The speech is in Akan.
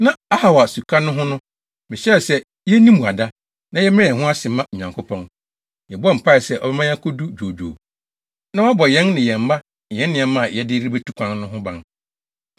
Na Ahawa Suka no ho no, mehyɛɛ sɛ yenni mmuada, na yɛmmrɛ yɛn ho ase mma Onyankopɔn. Yɛbɔɔ mpae sɛ ɔbɛma yɛakodu dwoodwoo, na wabɔ yɛn ne yɛn mma ne yɛn nneɛma a yɛde rebetu kwan no ho ban.